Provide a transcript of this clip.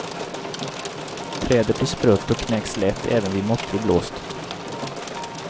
Trädet blir sprött och knäcks lätt även vid måttlig blåst.